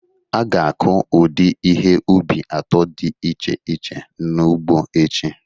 A ga-akụ ụdị ihe ubi atọ dị iche iche n'ugbo echi